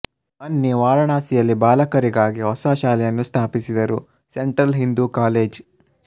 ಅನ್ನಿ ವಾರಣಾಸಿಯಲ್ಲಿ ಬಾಲಕರಿಗಾಗಿ ಹೊಸ ಶಾಲೆಯನ್ನು ಸ್ಥಾಪಿಸಿದರು ಸೆಂಟ್ರಲ್ ಹಿಂದೂ ಕಾಲೇಜ್